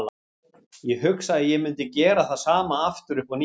Ég hugsa að ég mundi gera það sama aftur upp á nýtt.